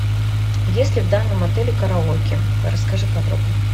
есть ли в данном отеле караоке расскажи подробно